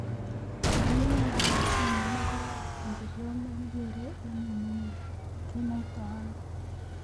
Yoneyoe komochenge negoy ?injiryot nekigere eng yemenye kenoito ono?